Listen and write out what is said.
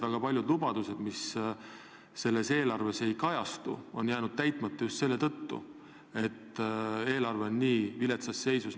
Väga paljud lubadused, mis selles eelarves ei kajastu, on jäänud täitmata just selle tõttu, et eelarve on nii viletsas seisus.